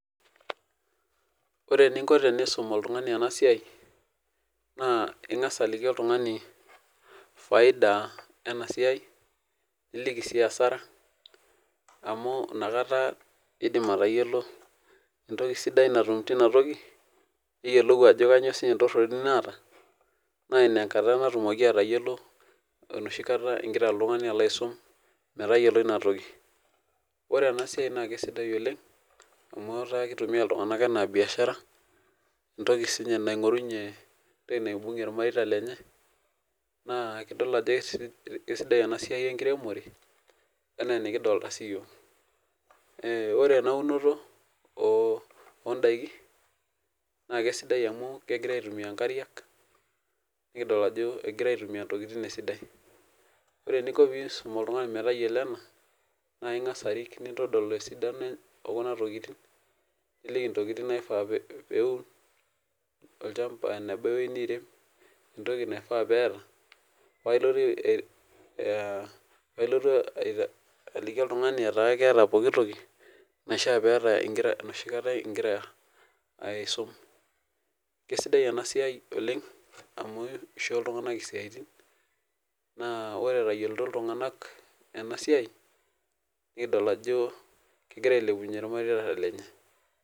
Ore eninko tenisum oltungani enasia na ingasa aliki oltungani faida enasia niliki si asara amu nakata indim atayiolo entoki sidai natum tinatoki niyiolou ajo kanyio kanyio entoroni naata na inakata indim atayiolo enoshi kata ingira oltungani alo aisum metayiolo inatoki ore enasia nakesidai oleng amu ataa kitumia ltunganak anaa biashara entoki naingorunye entoki naibungie irmareita lenye na idol ajo kesidai enasia enkiremore anaa enikidolita siyiok ore enaunoto ondakin na kesidai amu kegirai aitumia nkariak nikidol ajo egirai aitumia ntokitin esidai ore eninko peisum oltungani metayiolo ena na ingasa aisum oltungani metayiolo ena kunatokitin eneba ewoi nirem ntokitin naifaa peeta pailotu aliki oltungani eeta pooki toki enoshikata aisum kesidai enasia oleng amu kisho ltunganak siatin na ore etayiolo ltunganak enasia nikidol ajo kegira ailepunye irmareita lenye